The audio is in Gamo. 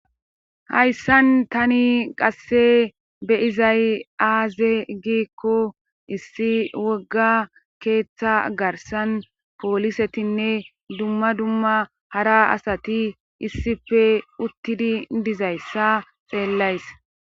hayssan tani qasse beyizay aaze giikko issi wogga keeththa garsan poolisetinne dumma dumma hara asati issife uttidi dizayssa xeellays